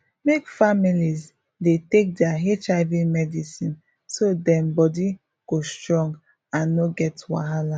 make families dey take their hiv medicine so dem body go strong and no get wahala